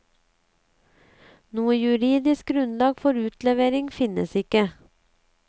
Noe juridisk grunnlag for utlevering finnes ikke.